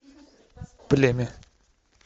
племя